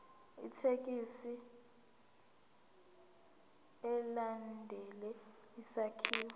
ithekisthi ilandele isakhiwo